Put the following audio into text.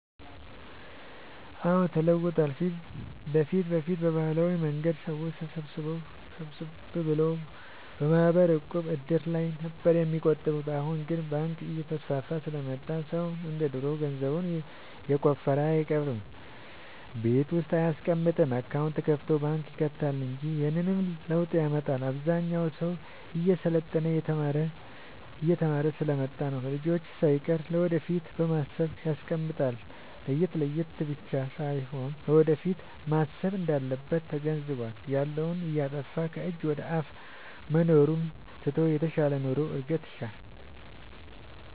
አዎድ ተለውጧል በፊት በፊት በባህላዊ መንገድ ሰዎች ሰብሰብ ብለው በማህበር፣ ዕቁብ፣ እድር ላይ ነበር የሚቆጥቡት አሁን ግን ባንክ እየተስፋፋ ስለመጣ ሰው እንደ ድሮ ገንዘቡን የቆፈረ አይቀብርም ቤት ውስጥ አይያስቀምጥም አካውንት ከፋቶ ባንክ ይከታል እንጂ ይህንንም ለውጥ ያመጣው አብዛኛው ሰው እየሰለጠነ የተማረ ስሐ ስለመጣ ነው። ለልጅቹ ሳይቀር ለወደፊት በማሰብ ያስቀምጣል የለት የለቱን ብቻ ሳይሆን ለወደፊቱም ማሰብ እንዳለበት ተገንዝቧል። ያለውን እያጠፋፋ ከጅ ወደአፋ መኖሩን ትቶ የተሻለ ኑሮ እድገት ይሻል።